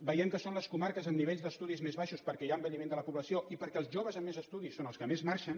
veiem que són les comarques amb nivells d’estudis més baixos perquè hi ha envelliment de la població i perquè els joves amb més estudis són els que més marxen